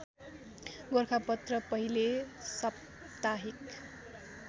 गोरखापत्र पहिले साप्ताहिक